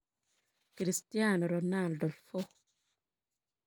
Cristiano Ronaldo 4.